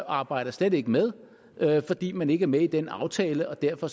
arbejder slet ikke med fordi man ikke er med i den aftale og derfor